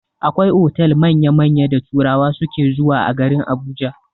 Akwai otal manya-manya da turawa suke zuwa a garin Abuja.